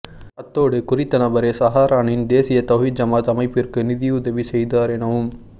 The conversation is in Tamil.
அத்தோடு குறித்த நபரே சஹரானின் தேசிய தௌஹீத் ஜமாத் அமைப்பிற்கு நிதியுதவி செய்தார் எனவும்